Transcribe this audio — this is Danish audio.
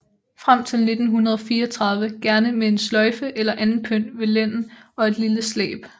Frem til 1934 gerne med en sløjfe eller anden pynt ved lænden og et lille slæb